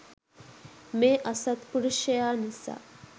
මේ අසත්පුරුෂයා නිසා